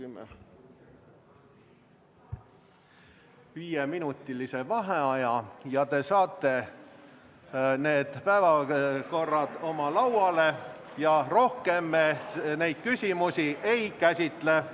Võtame viieminutilise vaheaja, te saate need päevakorrad oma lauale ja rohkem me neid küsimusi ei käsitle.